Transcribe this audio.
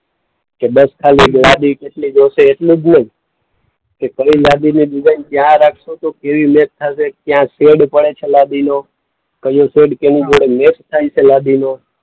કે બસ ખાલી લાદી કેટલી જોઈશે એટલું જ નહીં. કે કઈ લાદીની ડિઝાઈન કયાં રાખશું તો કેવી મેચ થાશે, ક્યાં શૅડ પડે છે લાદીનો. કયો શેડ કોની જોડે મેચ થાય છે લાદીનો.